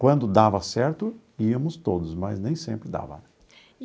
Quando dava certo, íamos todos, mas nem sempre dava.